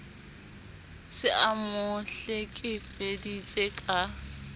se a mo hlekefeditse ka